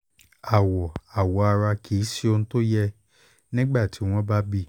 àwọ̀ awọ ara kì í ṣe ohun tó yẹ nígbà tí wọ́n bá bí i